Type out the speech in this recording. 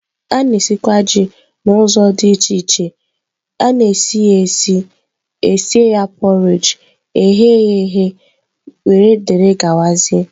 A na-esikwa Ji n'ụzọ dị iche iche sie ya, porridge esiri ya, e ghere eghe wdg.